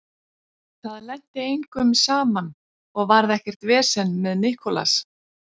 Það lenti engum saman og varð ekkert vesen með Nicolas.